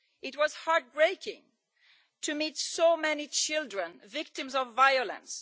It was heart breaking to meet so many children victims of violence.